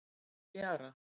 Nú er fjara.